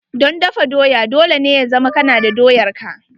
Don dafa doya, dole ne ya zama kana da doyar ka.